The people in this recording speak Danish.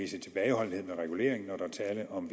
tilbageholdenhed med regulering når der er tale om